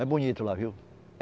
É bonito lá, viu?